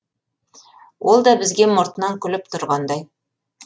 ол да бізге мұртынан күліп түрғандай